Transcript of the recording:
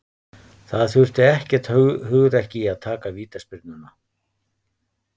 Það þurfti ekkert hugrekki í að taka vítaspyrnuna.